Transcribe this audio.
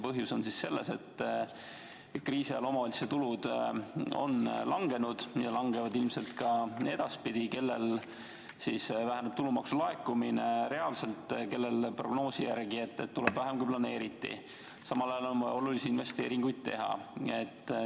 Põhjus on selles, et kriisi ajal on omavalitsuste tulud langenud ja langevad ilmselt ka edaspidi, kellel siis väheneb tulumaksu laekumine, kellel prognoosi järgi tuleb vähem kui planeeriti, aga samal ajal on vaja olulisi investeeringuid teha.